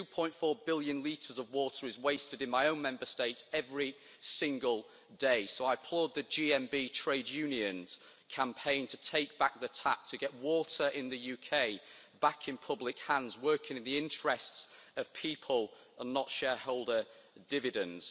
2.4 billion litres of water is wasted in my own Member State every single day so I applaud the GMB Trade Unionʼs campaign to take back the tap, to get water in the UK back in public hands, working in the interests of people and not shareholder dividends.